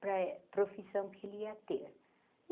para a profissão que ele ia ter.